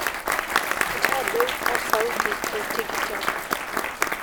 tadoi osauti te tikitam